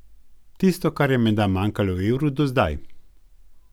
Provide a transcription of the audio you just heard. Tisto, kar je menda manjkalo evru do zdaj.